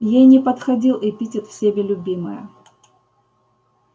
ей не подходил эпитет всеми любимая